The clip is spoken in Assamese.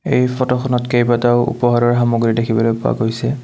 এই ফটো খনত কেইবাটাও উপহাৰৰ সামগ্ৰী দেখিবলৈ পোৱা গৈছে।